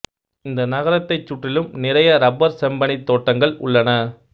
இந்த நகரத்தைச் சுற்றிலும் நிறைய ரப்பர் செம்பனைத் தோட்டங்கள் உள்ளன